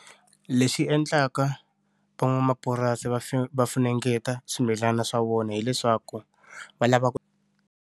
Leswi endlaka van'wamapurasi va fu va funengeta swimilani swa vona hileswaku va lava ku.